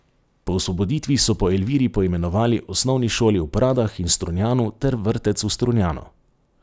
Po osvoboditvi so po Elviri poimenovali osnovni šoli v Pradah in Strunjanu ter vrtec v Strunjanu.